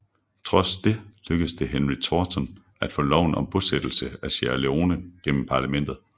Trods det lykkedes det Henry Thornton at få loven om bosættelse af Sierra Leone gennem parlamentet